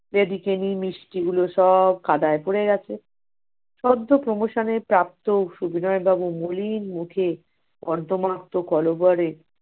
লেডিকিনি মিষ্টিগুলো সব কাদায় পড়ে গেছে। সদ্য promotion এ প্রাপ্ত সুবিনয় বাবু মলিন মুখে কর্দমাক্ত কলবরে